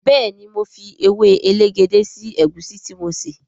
béèni mọ fí ewe elegede sí egusi tí mo ṣe.